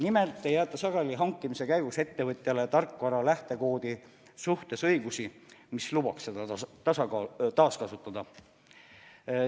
Nimelt ei jäeta sageli hankimise käigus ettevõtjale tarkvara lähtekoodi suhtes õigusi, mis lubaks seda taaskasutada.